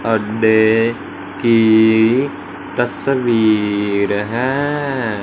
Birthday की तस्वीर है।